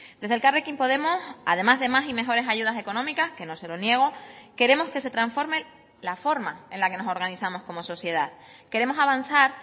desde elkarrekin podemos además de más y mejores ayudas económicas que no se lo niego queremos que se transforme la forma en la que nos organizamos como sociedad queremos avanzar